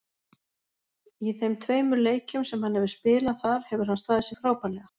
Í þeim tveimur leikjum sem hann hefur spilað þar hefur hann staðið sig frábærlega.